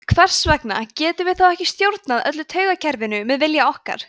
hvers vegna getum við þá ekki stjórnað öllu taugakerfinu með vilja okkar